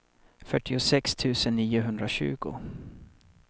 fyrtiosex tusen niohundratjugo